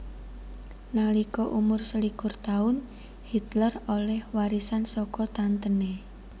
Nalika umur selikur taun Hitler olèh warisan saka tantené